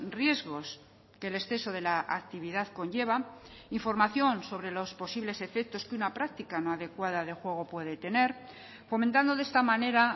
riesgos que el exceso de la actividad conlleva información sobre los posibles efectos que una práctica no adecuada de juego puede tener fomentando de esta manera